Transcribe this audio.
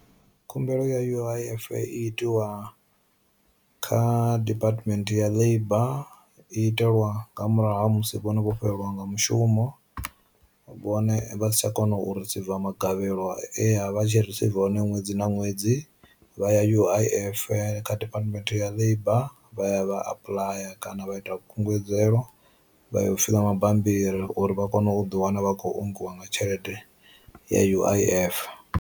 Khumbelo ya U_I_F i itiwa kha department ya labour itelwa nga murahu ha musi vhone vho fhelelwa nga mushumo, vhone vha satsha kona u risiva magavhelo e avha tshi risiva hone ṅwedzi na ṅwedzi, vha ya U_I_F kha Department ya Labour vha ya vha apuḽaya kana vha ita kungedzelwaho vha ya u fiḽaa mabambiri uri vha kone u ḓi wana vha khou ongiwa nga tshelede ya U_I_F.